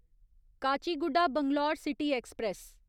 Kachiguda Bangalore city express